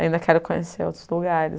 Ainda quero conhecer outros lugares.